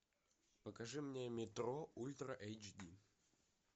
покажи мне метро ультра эйч ди